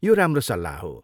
यो राम्रो सल्लाह हो।